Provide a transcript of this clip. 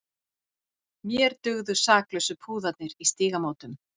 Mér dugðu saklausu púðarnir í Stígamótum!